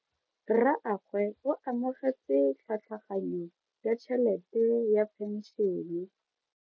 Rragwe o amogetse tlhatlhaganyo ya tšhelete ya phenšene.